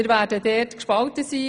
Wir werden gespalten sein.